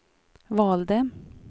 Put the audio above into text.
valde